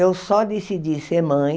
Eu só decidi ser mãe